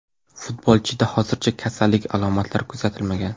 Futbolchida hozircha kasallik alomatlari kuzatilmagan.